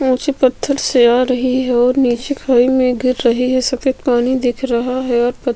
ऊँचे पत्थर से आ रही है और निचे कुंए में गिर रही है सफ़ेद पानी दिख रहा है और --